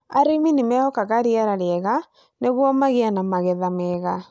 Arĩmi nĩ mehokaga rĩera rĩega nĩguo magĩe na magetha mega.